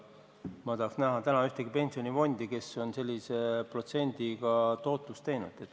Ma tahaks praegu näha mõnda pensionifondi, kes on sellise protsendiga tootluse saavutanud.